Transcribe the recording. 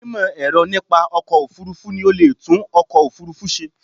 Onímọ̀ ẹ̀rọ nípa ọkọ̀ òfurufú ni o leè tún ọkọ̀ òfúrufú se